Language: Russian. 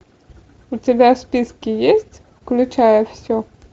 у тебя в списке есть включая все